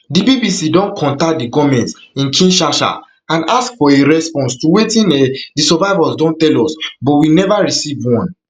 di bbc don contact di goment in kinsasha and ask for a response to wetin um di survivors don tell us but we never received one um